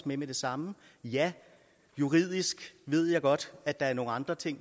med med det samme ja juridisk ved jeg godt at der er nogle andre ting